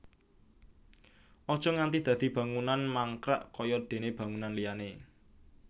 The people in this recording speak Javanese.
Aja nganti dadi bangunan mangkrak kaya déné bangunan liyané